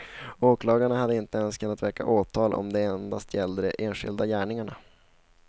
Åklagaren hade inte ens kunnat väcka åtal om det endast gällde de enskilda gärningarna.